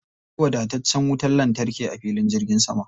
Akwai wadataccen wutar lantarki a filin jirgin sama.